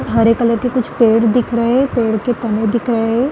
हरे colour के कुछ पेड़ दिख रहे है पेड़ के तने दिख रहे है।